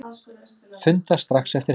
Funda strax eftir helgi